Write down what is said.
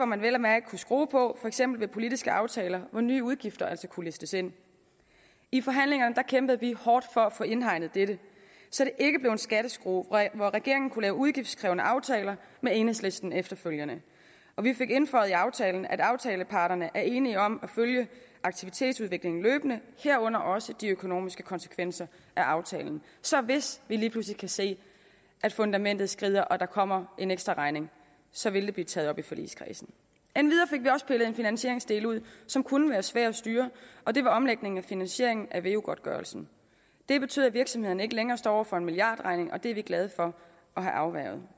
man vel at mærke kunne skrue på for eksempel ved politiske aftaler hvor nye udgifter altså kunne listes ind i forhandlingerne kæmpede vi hårdt for at få indhegnet dette så det ikke blev en skatteskrue hvor regeringen kunne lave udgiftskrævende aftaler med enhedslisten efterfølgende og vi fik indføjet i aftalen at aftaleparterne er enige om at følge aktivitetsudviklingen løbende herunder også de økonomiske konsekvenser af aftalen så hvis vi lige pludselig kan se at fundamentet skrider og der kommer en ekstraregning så vil det blive taget op i forligskredsen endvidere fik vi også pillet en finansieringsdel ud som kunne være svær at styre og det var omlægningen af finansieringen af veu godtgørelsen det betyder at virksomhederne ikke længere står over for en milliardregning og det er vi glade for at have afværget